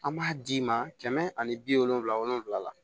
An b'a d'i ma kɛmɛ ani bi wolonfila wolonfila la